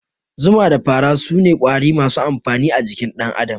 Zuma da fara sune Ƙwari masu amfani a jikin dan Adam